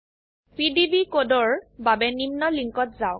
PDB কোডৰ বাবে নিম্ন লিঙ্কত যাওক